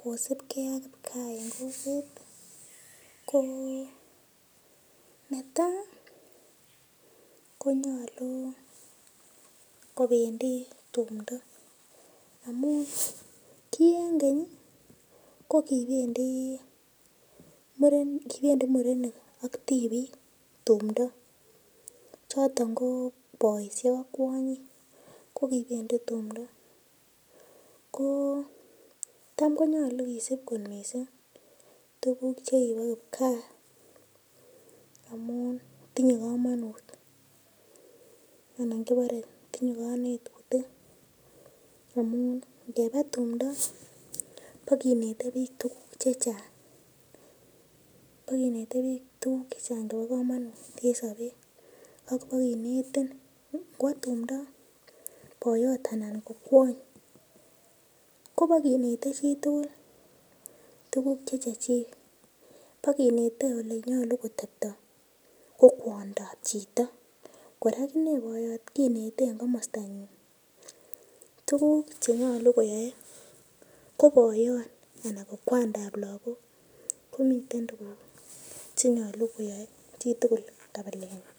kosupkee ak kipkaa eng kokwet ko netai konyolu kobendi tumdo amu ki eng keny ko kibendi murenik ak tipiik tumdo choton ko boishek ak kwonyik ko kibendi tumdo ko tam konyolu kisup kot mising tukuk chekibo kipkaa amun tinyei komonut anan kiborei tinyei kanetutik amun ngeba tumdo pakinetei biik tukuk che chang chebo komonut eng sobet ak pokenetin ngwo tumdo boiyot anan ko kwony kopo kenetei chitugul tuguk che chechechik pokenetei ole nyolu kotepto ko kwondap chito kora akine boiyot kenetei eng komostan ng'wan tukuk chenyalu koyae ko boiyot ana ko kwandap lakok komiten tukuk chenyolu koyoe chitugul kabiletnyi